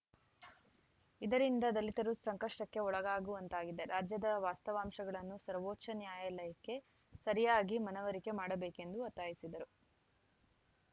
ಇದರಿಂದಾ ದಲಿತರು ಸಂಕಷ್ಟಕ್ಕೆ ಒಳಗಾಗುವಂತಾಗಿದೆ ರಾಜ್ಯದ ವಾಸ್ತವಾಂಶಗಳನ್ನು ಸರ್ವೋಚ್ಚ ನ್ಯಾಯಲಯಕ್ಕೆ ಸರಿಯಾಗಿ ಮನವರಿಕೆ ಮಾಡಬೇಕೆಂದು ಒತ್ತಾಯಿಸಿದರು